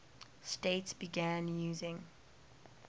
states began using